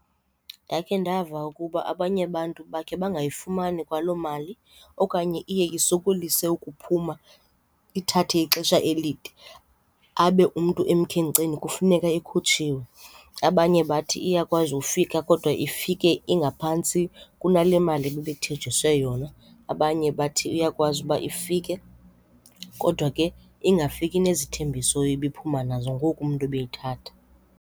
Ndakhe ndava ukuba abanye abantu bakhe bangayifumani kwaloo mali okanye iye isokolise ukuphuma, ithathe ixesha elide abe umntu emkhenkceni kufuneka ikhutshiwe. Abanye bathi iyakwazi ufika kodwa ifike ingaphantsi kunale mali bebethenjiswe yona, abanye bathi iyakwazi uba ifike kodwa ke ingafiki nezithembiso ibiphuma nazo ngoku umntu ebeyithatha.